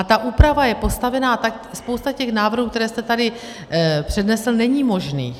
A ta úprava je postavena tak... spousta těch návrhů, které jste tady přednesl, není možných.